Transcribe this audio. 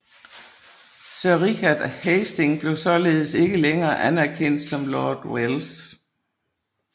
Sir Richard Hastings blev således ikke længere anerkendt som Lord Welles